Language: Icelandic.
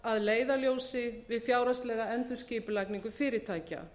að leiðarljósi við fjárhagslega endurskipulagningu fyrirtækja